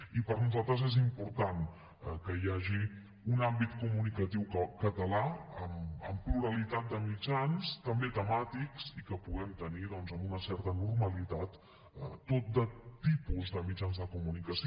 i per a nosaltres és important que hi hagi un àmbit comunicatiu català amb pluralitat de mitjans també temàtics i que puguem tenir doncs amb una certa normalitat tot de tipus de mitjans de comunicació